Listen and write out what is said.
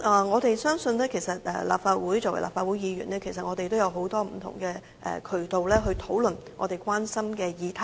我們相信，作為立法會議員，我們其實也有很多不同渠道可以討論我們關心的議題。